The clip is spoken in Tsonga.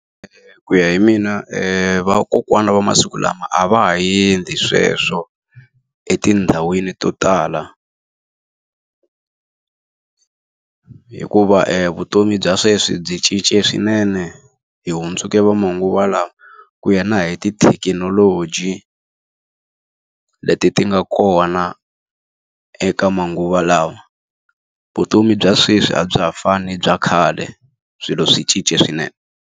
Ku ya hi mina vakokwana va masiku lama a va ha endli sweswo etindhawini to tala. Hikuva vutomi bya sweswi byi cince swinene hi hundzuke va manguva lawa ku ya na hi tithekinoloji, leti ti nga kona eka manguva lawa. Vutomi bya sweswi a bya ha fani na bya khale, swilo swi cince swinene.